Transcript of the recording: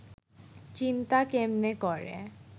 চিন্তা কেমনে করে